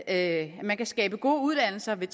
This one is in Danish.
at man kan skabe gode uddannelser ved